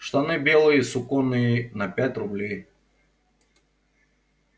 штаны белые суконные на пять рублей